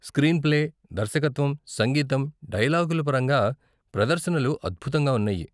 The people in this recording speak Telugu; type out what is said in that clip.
స్క్రీన్ప్లే, దర్శకత్వం, సంగీతం, డైలాగుల పరంగా ప్రదర్శనలు అద్భుతంగా ఉన్నాయి.